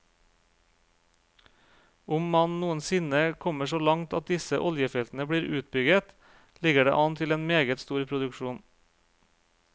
Om man noensinne kommer så langt at disse oljefeltene blir utbygget, ligger det an til en meget stor produksjon.